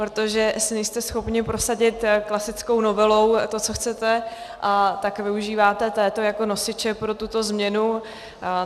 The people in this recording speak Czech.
Protože asi nejste schopni prosadit klasickou novelou to, co chcete, tak využíváte této jako nosiče pro tuto změnu.